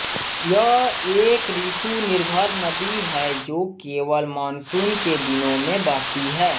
यह एक ऋतुनिर्भर नदी है जो केवल मॉनसून के दिनों में बहती है